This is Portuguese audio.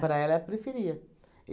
Para ela, preferia.